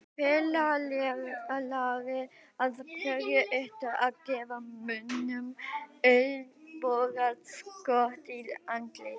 Félagi, af hverju ertu að gefa mönnum olnbogaskot í andlitið?